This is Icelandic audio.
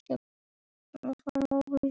Þetta kemur fram á Vísi.